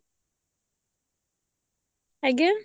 ଆଂଜ୍ଞା